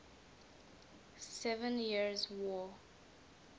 seven years war